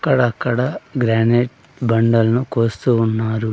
అక్కడక్కడ గ్రానైట్ బండలను కోస్తూ ఉన్నారు.